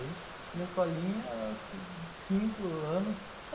Fui na escolinha, cinco anos.